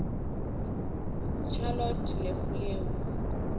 charlotte le fleur